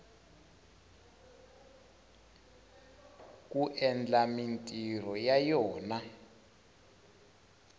ku endla mintirho ya yona